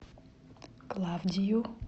клавдию